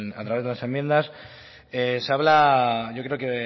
a través de las enmiendas se habla yo creo que